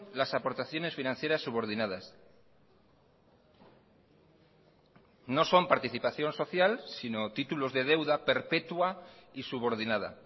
las aportaciones financieras subordinadas no son participación social sino títulos de deuda perpetua y subordinada